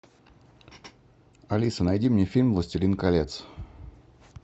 алиса найди мне фильм властелин колец